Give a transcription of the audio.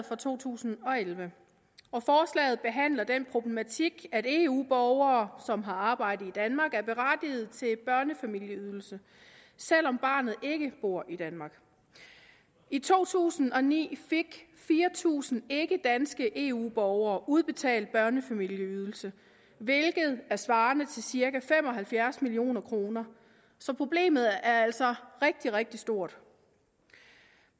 for to tusind og elleve og forslaget behandler den problematik at eu borgere som har arbejde i danmark er berettiget til børnefamilieydelse selv om barnet ikke bor i danmark i to tusind og ni fik fire tusind ikkedanske eu borgere udbetalt børnefamilieydelse hvilket er svarende til cirka fem og halvfjerds million kroner så problemet er altså rigtig rigtig stort